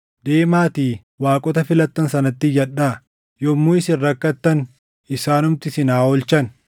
Deemaatii waaqota filattan sanatti iyyadhaa. Yommuu isin rakkattan isaanumti isin haa oolchan!”